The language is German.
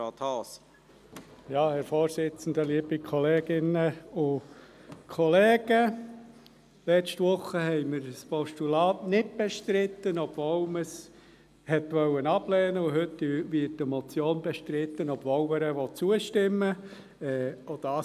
Letzte Woche hatten wir ein Postulat nicht bestritten, obwohl man es ablehnen wollte, und heute wird eine Motion bestritten, obwohl man ihr zustimmen will.